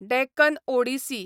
Deccan Odissi